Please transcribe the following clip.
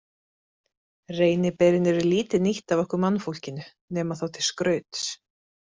Reyniberin eru lítið nýtt af okkur mannfólkinu, nema þá til skrauts.